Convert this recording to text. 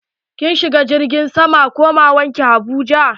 Kin shiga jirgin sama komawar ki abuja?